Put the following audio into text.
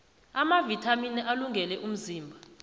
amavithamini alungele umzimba